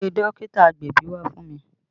Pe dókítà agbẹ̀bí wá fún mi!